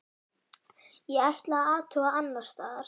Ég ætla að athuga annars staðar.